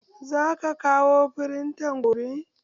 Za ka kawo firintan gobe?